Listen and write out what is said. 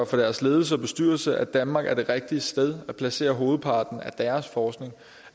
for deres ledelse og bestyrelse at danmark er det rigtige sted at placere hovedparten af deres forskning